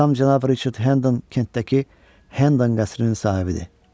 Atam cənab Riçard Hendon Kentdəki Hendon qəsrinin sahibidir.